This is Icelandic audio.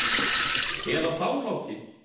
Eða þá Láki?